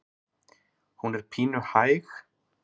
Hún er pínu hæg.